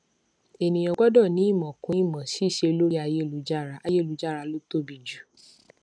ènìyàn gbọdọ ní ìmọ kún ìmọ ṣíṣe lórí ayélujára ayélujára ló tóbi jù